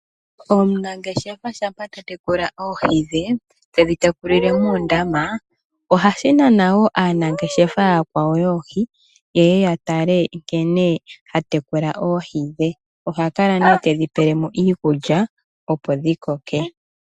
Omunangeshefa shampa ta tekula oohi dhe tedhi tekulile moondama, ohashi nana woo aanangeshefa aakwawo yoohi ye ye ya tale nkene ta tekula oohi. Oha kala nee tedhi pele mo iikulya opo dhi koke.